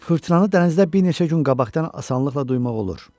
Fırtınalı dənizdə bir neçə gün qabaqdan asanlıqla duymaq olur.